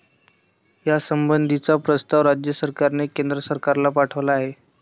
यासंबंधीचा प्रस्ताव राज्य सरकारने केंद्र सरकारला पाठवला आहे.